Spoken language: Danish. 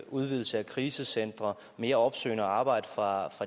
udvidelse af krisecentre mere opsøgende arbejde fra